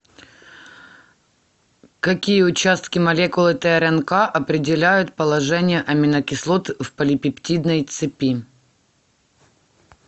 какие участки молекулы трнк определяют положение аминокислот в полипептидной цепи